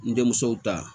N denmuso ta